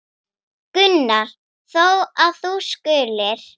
Það er lýsandi fyrir ömmu.